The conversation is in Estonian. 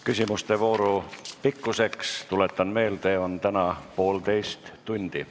Küsimuste vooru pikkus, tuletan meelde, on täna poolteist tundi.